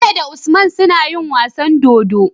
Bello da usman suna yin wasan dodo